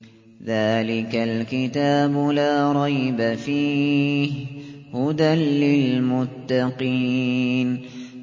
ذَٰلِكَ الْكِتَابُ لَا رَيْبَ ۛ فِيهِ ۛ هُدًى لِّلْمُتَّقِينَ